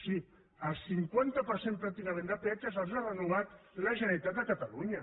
sí el cinquanta per cent pràcticament de peatges els ha renovat la generalitat de catalunya